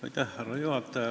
Härra juhataja!